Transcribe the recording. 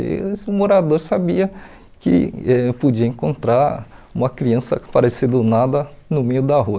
E esse morador sabia que eh podia encontrar uma criança aparecer do nada no meio da rua.